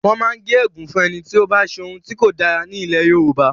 Wọ́n máa ń gé ègún fún ẹni tí ó bá ṣe ohun tí kò dára ní ilẹ̀ Yorùbá.